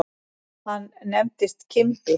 Hann nefndist Kimbi.